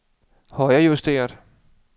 højrejusteret